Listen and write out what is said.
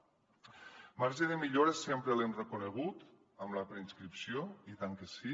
el marge de millora sempre l’hem reconegut en la preinscripció i tant que sí